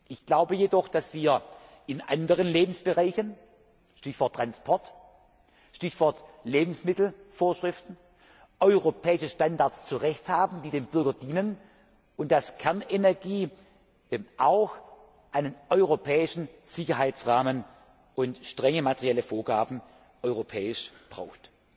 Ich glaube jedoch, dass wir in anderen Lebensbereichen Stichwort Transport, Stichwort Lebensmittelvorschriften zu Recht europäische Standards haben, die dem Bürger dienen, und dass Kernenergie auch einen europäischen Sicherheitsrahmen und strenge materielle Vorgaben auf europäischer Ebene braucht.